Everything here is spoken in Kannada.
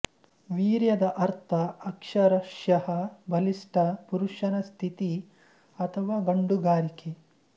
ವೀರ್ಯದ ಅರ್ಥ ಅಕ್ಷರಶಃ ಬಲಿಷ್ಠ ಪುರುಷನ ಸ್ಥಿತಿ ಅಥವಾ ಗಂಡುಗಾರಿಕೆ